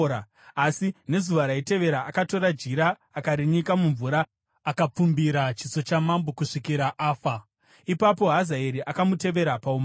Asi nezuva raitevera akatora jira akarinyika mumvura akapfumbira chiso chamambo kusvikira afa. Ipapo Hazaeri akamutevera paumambo.